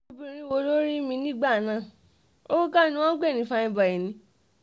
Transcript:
obìnrin wo ló rí mi nígbà náà owó kọ́ ni wọ́n ń pè ní fine boy ni